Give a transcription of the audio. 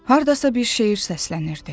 Hardasa bir şeir səslənirdi.